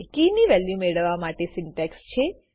કી ની વેલ્યુ મેળવવા માટે સિન્ટેક્સ છે